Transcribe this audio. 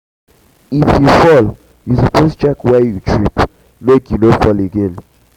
if you fall you suppose check where you trip make you no fall again.